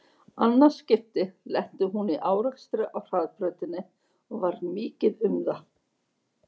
Annað skipti lenti hún í árekstri á hraðbrautinni og varð mikið um það.